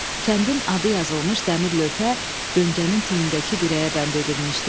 Kəndin adı yazılmış dəmir lövhə dönkənin tinindəki dirəyə bənd edilmişdi.